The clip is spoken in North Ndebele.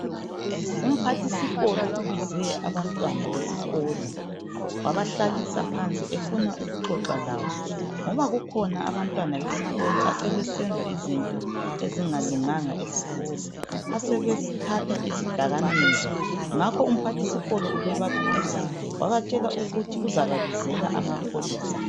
Umphathisikolo ubize abantwana besikolo wabahlalisa phansi efuna ukuxoxa labo, ngoba kukhona abantwana besikolo asebesenza izinto ezingalunganga esikolo. Asebethatha izidakamizwa. Ngakho umphathisikolo ubebakhuza, wabatshela ukuthi uzababizela amapholisa.